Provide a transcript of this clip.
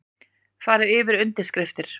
Farið yfir undirskriftir